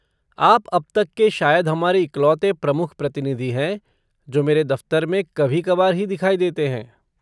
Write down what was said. आप अब तक के शायद हमारे इकलौते प्रमुख प्रतिनिधि हैं जो मेरे दफ़्तर में कभी कबार ही दिखाई देते हैं।